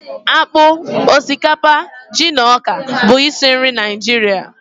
Akpụ, osikapa, ji na ọka bụ isi nri Naịjirịa